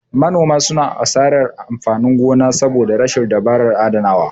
Manoma suna asarar kayan amfanin gona saboda rashin dabarar adanawa.